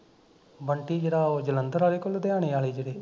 ਬੰਟੀ ਜਿਹੜਾ ਉਹ ਜਲੰਧਰ ਆਲੇ ਕਿ ਲੁਧਿਆਣੇ ਆਲੇ ਜਿਹੜੇ